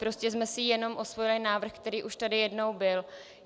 Prostě jsme si jenom osvojili návrh, který už tady jednou byl.